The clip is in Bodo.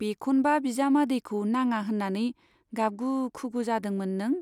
बेखौन्बा बिजामादैखौ नाङा होन्नानै गाबगु खुगु जादोंमोन नों।